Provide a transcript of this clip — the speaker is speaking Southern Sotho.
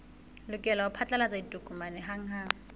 lokela ho phatlalatsa ditokomane hanghang